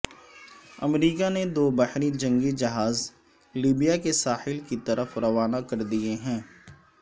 امریکہ نے دو بحری جنگی جہاز لیبیا کے ساحل کی طرف روانہ کر دیے ہیں